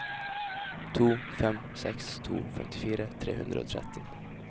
to fem seks to femtifire tre hundre og tretti